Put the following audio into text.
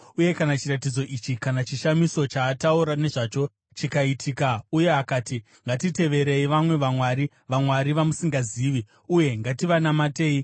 uye kana chiratidzo ichi kana chishamiso chaataura nezvacho chikaitika, uye akati, “Ngatiteverei vamwe vamwari” (vamwari vamusingazivi) “uye ngativanamatei,”